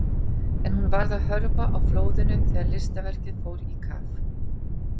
En hún varð að hörfa á flóðinu þegar listaverkið fór í kaf.